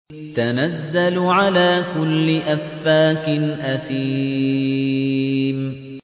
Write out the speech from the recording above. تَنَزَّلُ عَلَىٰ كُلِّ أَفَّاكٍ أَثِيمٍ